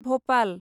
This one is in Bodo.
भ'पाल